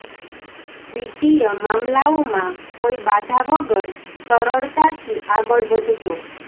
વિત્તીય મામલાઓ માં કોઈ બાધા વગર સરળતાથી આગળ વધશો